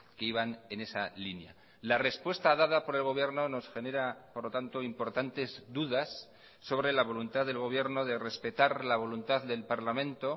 que iban en esa línea la respuesta dada por el gobierno nos genera por lo tanto importantes dudas sobre la voluntad del gobierno de respetar la voluntad del parlamento